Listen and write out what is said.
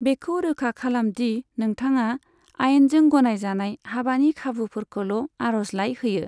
बेखौ रोखा खालाम दि नोंथाङा आयेनजों गनायजानाय हाबानि खाबुफोरखौल' आर'जलाइ होयो।